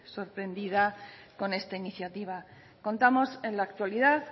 sorprendida con esta iniciativa contamos en la actualidad